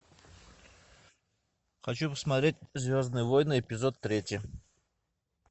хочу посмотреть звездные войны эпизод третий